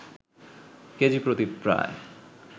কেজিপ্রতি প্রায়